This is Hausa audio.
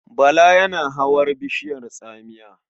Bala yana hawar bishiyar tsamiya.